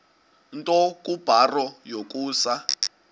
nto kubarrow yokusa